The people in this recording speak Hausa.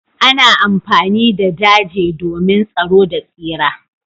Ana amfani da daje domin tsaro da tsira.